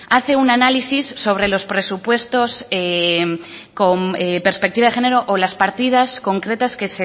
hace un análisis sobre los presupuestos con perspectiva de género o las partidas concretas que